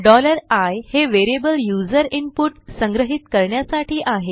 i हे variable user input संग्रहीत करण्यासाठी आहे